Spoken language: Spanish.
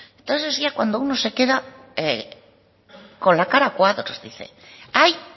entonces ya es cuando uno se queda con la cara a cuadros dice hay